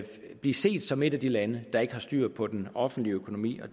blive set som et af de lande der ikke har styr på den offentlige økonomi og